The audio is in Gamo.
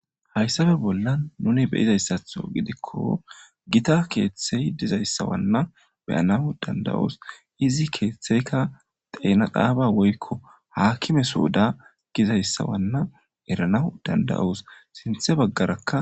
hayssabe bollan nuni be'izayssatho gidikko gita keeththey dizayssawanna beyanaw danda'oos izi keeththeyka xeena xaaba woykko haakime sooda gizayssa wanna eranaw danda'os sinthe baggarakka